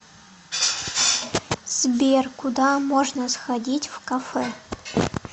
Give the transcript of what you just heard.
сбер куда можно сходить в кафе